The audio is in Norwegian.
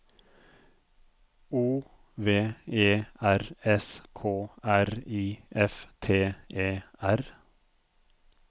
O V E R S K R I F T E R